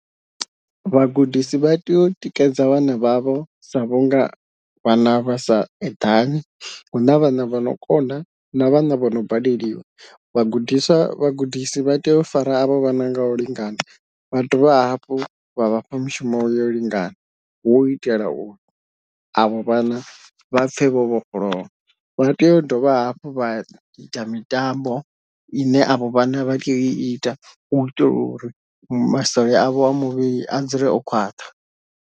Vhagudisi vha tea u tikedza vhana vhavho sa vhunga vhana vha sa eḓani, huna vhana vha no kona na vhana vho no baleliwa, vhagudiswa vhagudisi vha tea u fara avho vhana ngau lingana vha dovha hafhu vha vhafha mushumo yo lingana hu u itela uri avho vhana vha pfhe vho vhofholowa, vha tea u dovha hafhu vha ita mitambo ine avho vhana vha tea u ita u itela uri masole avho a muvhili a dzule o khwaṱha.